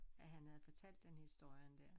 At han havde fortalt den historien dér